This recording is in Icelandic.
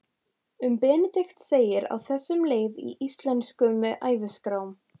Um Benedikt segir á þessa leið í Íslenskum æviskrám